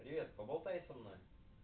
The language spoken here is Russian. привет поболтай со мной